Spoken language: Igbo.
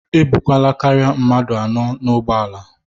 E bukwana karịa mmadụ anọ n'ụgbọala!